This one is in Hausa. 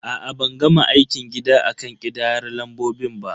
A'a, ban gama aikin gida akan ƙidayar lambobin ba.